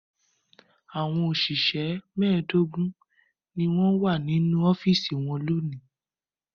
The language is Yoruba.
Àwọn òṣìṣẹ́ mẹ́ẹ̀dógún ni wọ́n wà nínú ọ́fíísì wọn lónìí.